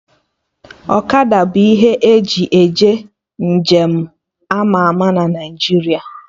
Ọkada bụ ihe eji eje nje m ama ama na Naijiria